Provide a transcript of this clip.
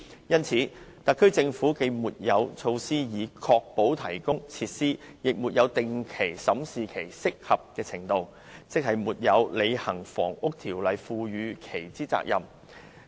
由此可見，特區政府既沒有措施"確保"並"提供"設施，也沒有定期審視這些設施的"適合"程度，即沒有履行《房屋條例》訂明的責任。